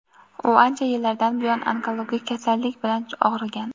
U ancha yillardan buyon onkologik kasallik bilan og‘rigan.